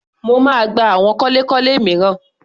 Mo máa gba àwọn kọ́lékọ́lé mìíràn.